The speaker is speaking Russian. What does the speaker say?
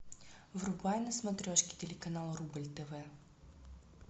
врубай на смотрешке телеканал рубль тв